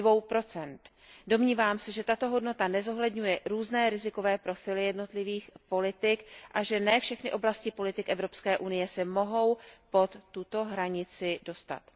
2 Domnívám se, že tato hodnota nezohledňuje různé rizikové profily jednotlivých politik a že ne všechny oblasti politik Evropské unie se mohou pod tuto hranici dostat.